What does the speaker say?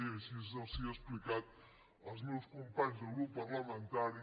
i així els ho he explicat als meus companys de grup parlamentari